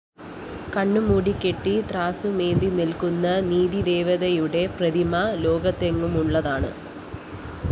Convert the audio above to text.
കണ്ണുമൂടിക്കെട്ടി ത്രാസുമേന്തി നില്‍ക്കുന്ന നീതിദേവതയുടെ പ്രതിമ ലോകത്തെങ്ങുമുള്ളതാണ്